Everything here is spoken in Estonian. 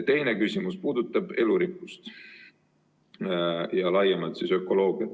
Teine küsimus puudutab elurikkust ja laiemalt ökoloogiat.